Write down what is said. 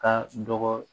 Ka dɔgɔ